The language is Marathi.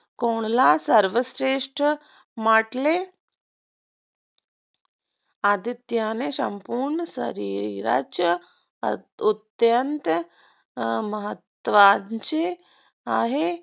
कोणाला सर्वश्रेष्ठ म्हटले आदित्यने संपूर्ण शरीरच अत्यंत महत्त्वाचे आहे